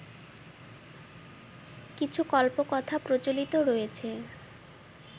কিছু কল্পকথা প্রচলিত রয়েছে